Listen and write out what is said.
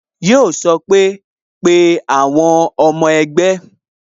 Yo sọ pé "Pe àwọn ọmọ ẹgbẹ́